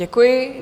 Děkuji.